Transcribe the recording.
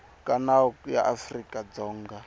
ka nawu ya afrika dzonga